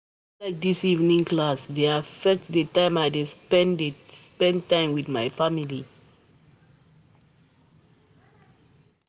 I no like as dis evening class dey affect di time I dey spend dey spend wit family.